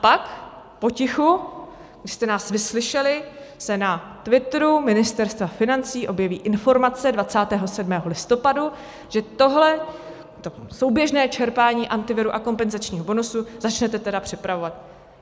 A pak potichu, když jste nás vyslyšeli, se na Twitteru Ministerstva financí objeví informace 27. listopadu, že tohle souběžné čerpání Antiviru a kompenzačního bonusu začnete tedy připravovat.